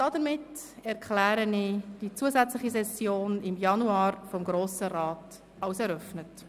Damit erkläre ich die zusätzliche Session des Grossen Rats im Januar für eröffnet.